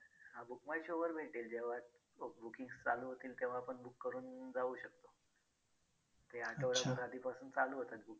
हां book my show वर भेटेल जेव्हा bookings चालू होतील तेव्हा आपण book करून जाऊ शकतो. ते आठवडाभर आधीपासून चालू होतात. booking